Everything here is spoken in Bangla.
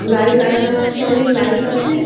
লাইট লাগানো আছে অনেক লাইট আছে |